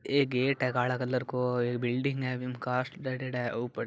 ऐ gate है काला colour को बिल्डिंग है कांच डालियोडा है ऊपर--